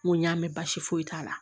N ko n y'a mɛn baasi foyi t'a la